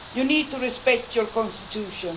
You need to respect your Constitution.